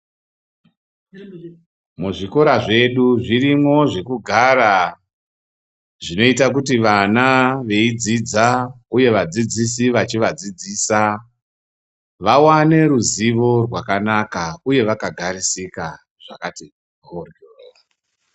Muzvikora zvedu zvirimo zvekugara zvinoita kuti vana veyidzidza, uye vadzidzisi vechivadzidzidzisa vawane ruzivo rwakanaka, uye vakagarisika.